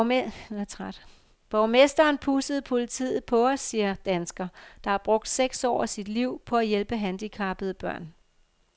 Borgmesteren pudsede politiet på os, siger dansker, der har brugt seks år af sit liv på at hjælpe handicappede børn.